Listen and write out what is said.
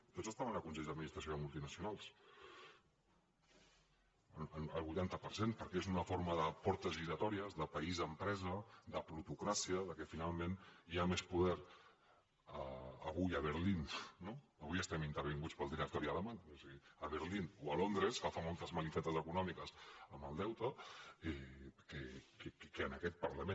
tots estaven en consells d’administració de multinacionals el vuitanta per cent perquè és una forma de portes giratòries de país empresa de plutocràcia que finalment hi ha més poder avui a berlín no avui estem intervinguts pel directori alemany o sigui a berlín o a londres que fa moltes malifetes econòmiques amb el deute que en aquest parlament